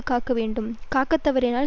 காக்க வேண்டும் காக்க தவறினால்